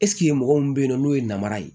mɔgɔ min be yen nɔ n'o ye namara ye